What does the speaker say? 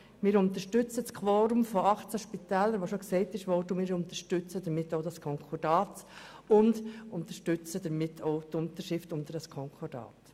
Wir unterstützen das Quorum von 18 Kantonen und wir unterstützen damit auch das Konkordat und die Unterschrift unter das Konkordat.